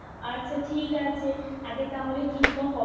আচ্ছা ঠিক আছে আগে তাহলে ঠিক কর কবে যাবি